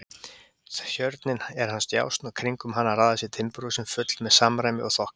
Tjörnin er hans djásn og kringum hana raða sér timburhúsin full með samræmi og þokka.